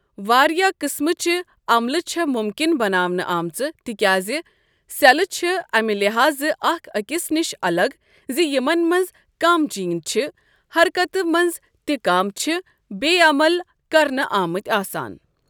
واریاہ قٕسمٕچہِ عملہٕ چھےٚ مُمکِن بناونہٕ آمژٕ تِکیازِ سیٚلہٕ چھےٚ اَمہِ لحاظہٕ اَکھ أکِس نِش اَلگ زِ یِمن منٛز کم جیٖن چھِ حرکَتہِ منٛز تہٕ کم چھِ بےٚ عمل کرنہٕ آمٕتۍ آسان۔